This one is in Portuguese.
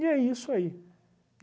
é isso aí.